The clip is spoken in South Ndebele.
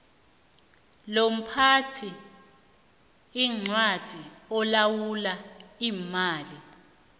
lomphathiincwadi olawula iimali